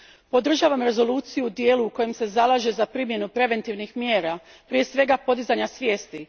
Podržavam Rezoluciju u dijelu u kojem se zalaže za primjenu preventivnih mjera, prije svega podizanja svijesti.